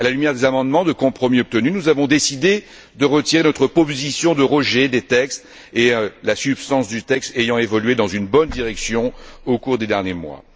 À la lumière des amendements de compromis obtenus, nous avons décidé de retirer notre proposition de rejet des textes, la substance du texte ayant évolué dans une bonne direction au cours des derniers mois.